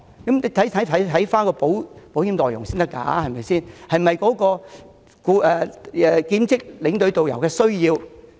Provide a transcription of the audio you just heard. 但是，大家必須考慮保險內容是否切合兼職領隊及導遊的需要。